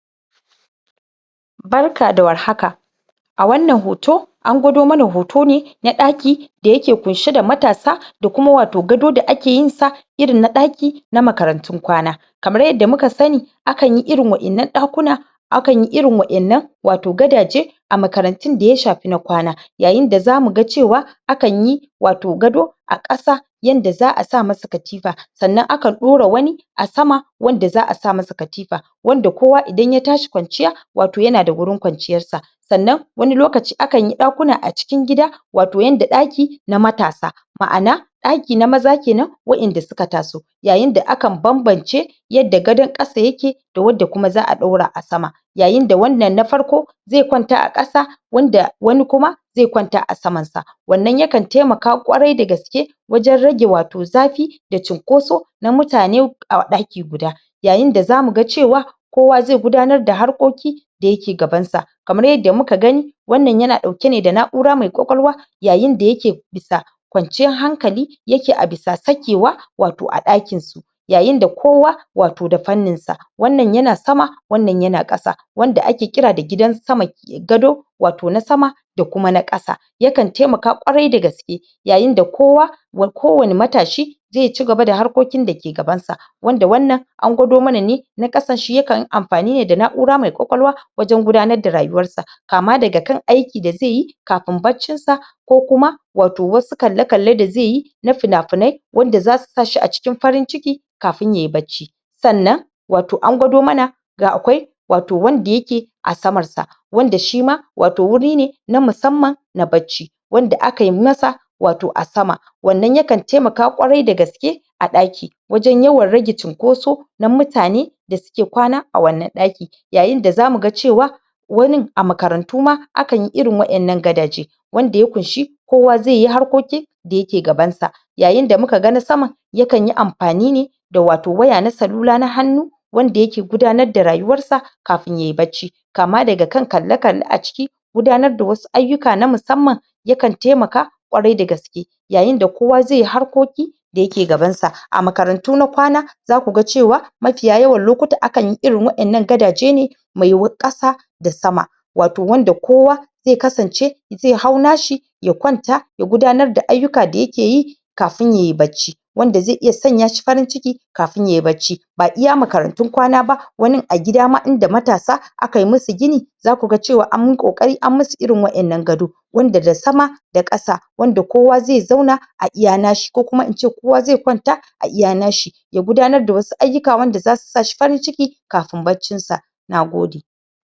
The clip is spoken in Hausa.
Barka da warhaka a wannan hoto an gwado mana hoto ne na ɗaki da yake kunshe da matasa da kuma wato gado da ake yinsa irin na ɗaki na makarantun kwana. Kamar yadda muka sani akanyi irin wa'innan ɗakuna akanyi irin wa'innan wato gadaje a makarantun daya shafi na kwana yayinda zamuga cewa akanyi wato gado a ƙasa yanda za a samasa katifa sannan akan ɗora wani a sama wanda za a samasa katifa wanda kowa idan ya tashi kwanciya wato yana da gurin kwanciyarsa sannan wani lokaci akanyi ɗakuna a cikin gida to yanda ɗaki na matasa ma'ana ɗaki na maza kenan waƴanda suka taso yayinda akan banbance yadda gadon ƙasa yake da wadda kuma za a ɗaura a sama yayinda wannan na farko ze kwanta a ƙasa wanda wani kuma ze kwanta a samansa wannan yakan temaka ƙwari da gaske wajen rage wato zafi da cunkoso na mutane a ɗaki guda yayinda zamuga cewa kowa ze gudanar da harkoki da yake gabansa kamar yadda muka gani wannan yana ɗauke ne da na'ura mai ƙwaƙwalwa yayinda yake bisa kwanciyar hankali yake abisa sakewa, wato a ɗakinsu yayinda kowa wato da fanninsa wannan yana sama wannan yana ƙasa wanda ake ƙira da gidan sama? gado wato na sama da kuma na ƙasa yakan temaka ƙwarai da gaske yayinda kowa wa kowane matashi ze cigaba da harkokin dake gabansa wanda wannan an gwado mana ne na ƙasa, shi yakan amfani ne da na'ura mai ƙwaƙwalwa wajen gudanar da rayuwarsa kama daga kan aiki da zeyi kafin baccin sa ko kuma wato wasu kalle-kalle da zeyi na fina-finai wanda zasu sa shi a cikin farin ciki kafin yai bacci sannan wato an gwado mana da akwai wato wanda yake a samar sa wanda shima wato wuri ne na musamman na bacci wanda akai masa wato a sama wannan yakan temaka ƙwarai da gaske a ɗaki wajen yawan rage cunkoso na mutane da suke kwana a wannan ɗaki yayinda zamuga cewa wanin a makarantu ma akanyi irin waƴannan gadaje wanda ya kunshi kowa zeyi harkoki da yake gabansa yayinda mukaga na sama yakanyi amfani ne da wato waya na salula na hannu wanda yake gudanar da rayuwarsa kafin yai bacci kama daga kan kalle-kalle a ciki gudanar da wasu ayyuka na musamman yakan temaka ƙwarai da gaske yayinda kowa ze harkoki da yake gabansa. A makarantu na kwana zakuga cewa mafiya yawan lokuta akanyi irin waƴannan gadaje ne me wu ƙasa da sama wato wanda kowa ze kasance ze hau nashi ya kwanta ya gudanar da ayyuka da yakeyi kafin ye bacci wanda ze iya sanya shi farin ciki kafin yai bacci ba iya makarantun kwana ba wanin a gida ma inda matasa, akai musu gini zakuga cewa anyi ƙoƙari anyi musu irin waƴannan gado wanda da sama da ƙasa wanda kowa ze zauna a iya nashi.ko kuma ince kowa ze kwanta a iya nashi ya gudanar da wasu ayyuka wanda zasu sa shi farin ciki kafin baccin sa nagode